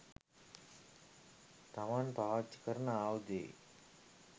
තමන් පාවිච්චි කරන ආයුධයේ